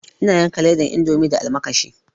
Ina yanka ledan indomi da almakashi